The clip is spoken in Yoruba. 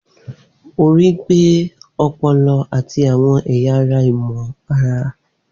Orí gbé ọpọlọ àti àwọn ẹ̀yà ara ìmọ̀-ara.